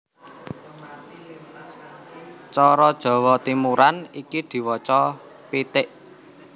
Cara Jawa Timuran iku diwaca péték